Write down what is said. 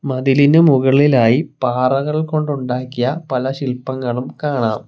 മതിലിന് മുകളിലായി പാറകൾ കൊണ്ടുണ്ടാക്കിയ പല ശിൽപ്പങ്ങളും കാണാം.